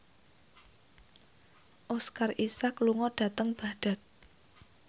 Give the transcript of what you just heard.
Oscar Isaac lunga dhateng Baghdad